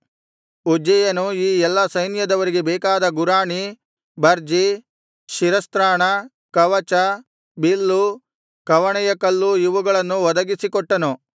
ಉಜ್ಜೀಯನು ಈ ಎಲ್ಲಾ ಸೈನ್ಯದವರಿಗೆ ಬೇಕಾದ ಗುರಾಣಿ ಬರ್ಜಿ ಶಿರಸ್ತ್ರಾಣ ಕವಚ ಬಿಲ್ಲು ಕವಣೆಯಕಲ್ಲು ಇವುಗಳನ್ನು ಒದಗಿಸಿ ಕೊಟ್ಟನು